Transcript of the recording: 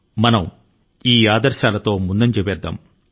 మనం ఈ సూత్రాల కు కట్టుబడి ముందుకు పోతున్నాము